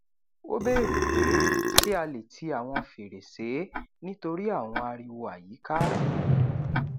o bèrè pé ṣé a le ti awọn fèrèsé nitori awọn ariwo àyíká